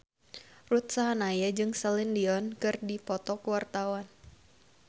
Ruth Sahanaya jeung Celine Dion keur dipoto ku wartawan